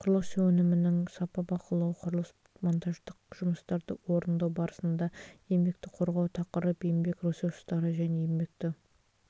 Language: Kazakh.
құрылыс өнімінің сапа бақылауы құрылыс монтаждық жұмыстарды орындау барысында еңбекті қорғау тақырып еңбек ресурстары және еңбекті